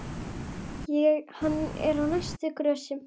Hann er á næstu grösum.